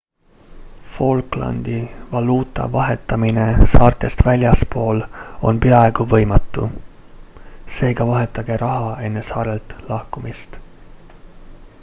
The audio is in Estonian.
falklandi valuuta vahetamine saartest väljaspool on peaaegu võimatu seega vahetage raha enne saartelt lahkumist